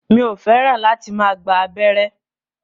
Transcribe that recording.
Mi ò fẹ́ràn láti máa gba abẹ́rẹ́